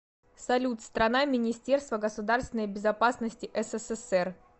салют страна министерство государственной безопасности ссср